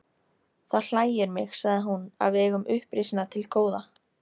Það hlægir mig, sagði hún,-að við eigum upprisuna til góða.